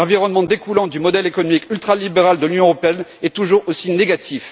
L'environnement découlant du modèle économique ultralibéral de l'Union européenne est toujours aussi négatif.